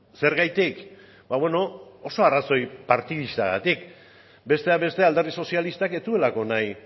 zergatik oso arrazoi partidistagatik besteak beste alderdi sozialistak ez zuelako nahi